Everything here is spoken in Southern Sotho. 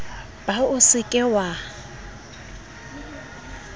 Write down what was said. ba o se ke wa